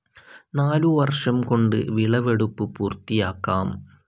നാലുവർഷം കൊണ്ട് വിളവെടുത്ത് പൂർത്തിയാക്കാം.